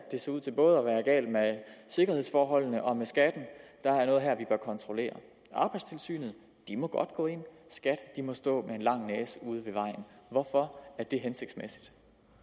det ser ud til både at være galt med sikkerhedsforholdene og med skatten der er kontrollere arbejdstilsynet må godt gå ind skat må stå med en lang næse ude ved vejen hvorfor er det hensigtsmæssigt